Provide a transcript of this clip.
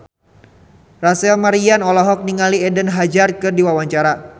Rachel Maryam olohok ningali Eden Hazard keur diwawancara